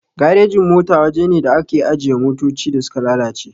Garejin mota waja ne da ake ajiye motoci da suka lalace